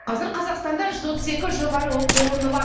қазір қазақстанда жүз отыз екі жоғары оқу орны бар